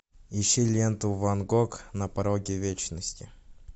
ищи ленту ван гог на пороге вечности